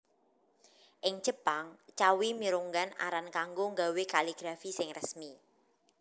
Ing Jepang cawi mirunggan aran kanggo nggawé kaligrafi sing resmi